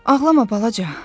Ağlama balaca.